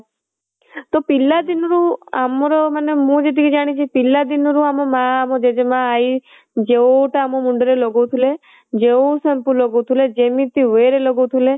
ତ ପିଲା ଦିନରୁ ଆମର ମାନେ ମୁଁ ଯେତିକି ଜାଣିଚି ପିଲା ଦିନରୁ ଆମର ମା ମୋ ଜେଜେମା ମୋ ଆଇ ଯୋଉଟା ଆମ ମୁଣ୍ଡ ରେ ଲଗାଉଥିଲେ ଯୋଉ shampoo ଲଗାଉଥିଲେ ଯେମିତି way ରେ ଲଗାଉଥିଲେ